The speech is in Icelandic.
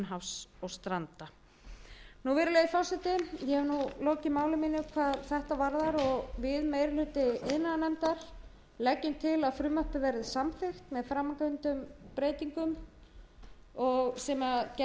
hafs og stranda virðulegi forseti ég hef lokið máli mínu hvað þetta varðar og við meiri hluti iðnaðarnefndar leggjum til að frumvarpið verði samþykkt með framangreindum breytingum sem gerð er tillaga um